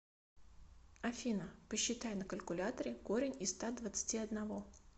афина посчитай на калькуляторе корень из ста двадцати одного